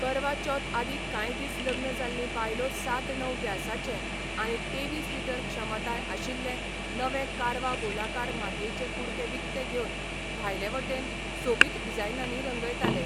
करवा चौथ आदी कांय दीस लग्न जाल्लीं बायलो सात णव व्यासाचे आनी तेवीस लिटर क्षमताय आशिल्ले नवे कारवा गोलाकार मातयेचे कुडके विकतें घेवन भायले वटेन सोबीत डिझायनांनी रंगयताले.